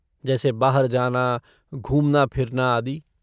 जैसे बाहर जाना, घूमना फिरना आदि।